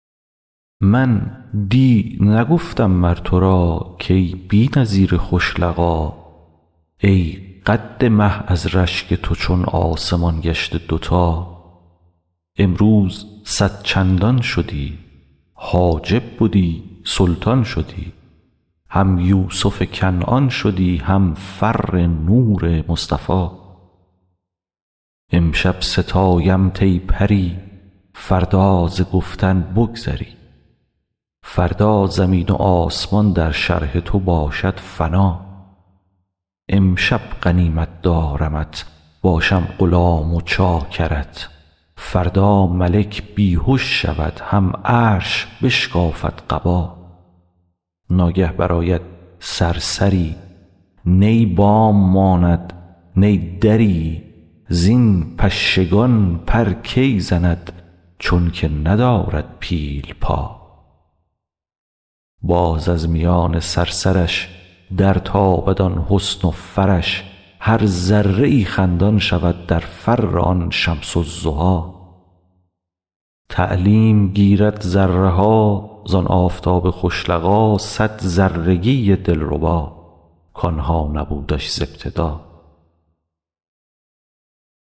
من دی نگفتم مر تو را کای بی نظیر خوش لقا ای قد مه از رشک تو چون آسمان گشته دوتا امروز صد چندان شدی حاجب بدی سلطان شدی هم یوسف کنعان شدی هم فر نور مصطفی امشب ستایمت ای پری فردا ز گفتن بگذری فردا زمین و آسمان در شرح تو باشد فنا امشب غنیمت دارمت باشم غلام و چاکرت فردا ملک بی هش شود هم عرش بشکافد قبا ناگه برآید صرصری نی بام ماند نه دری زین پشگان پر کی زند چونک ندارد پیل پا باز از میان صرصرش درتابد آن حسن و فرش هر ذره ای خندان شود در فر آن شمس الضحی تعلیم گیرد ذره ها زان آفتاب خوش لقا صد ذرگی دلربا کان ها نبودش ز ابتدا